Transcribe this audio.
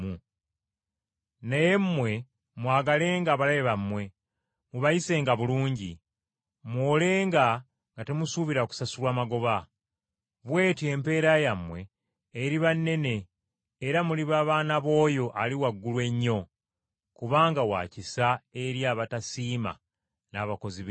Naye mmwe mwagalenga abalabe bammwe! Mubayisenga bulungi! Muwolenga nga temusuubira kusasulwa magoba. Bw’etyo empeera yammwe eriba nnene era muliba baana b’oyo Ali Waggulu Ennyo. Kubanga wa kisa eri abatasiima n’abakozi b’ebibi.